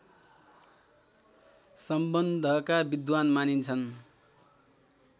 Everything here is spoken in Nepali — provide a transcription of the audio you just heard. सम्बन्धका विद्वान मानिन्छन्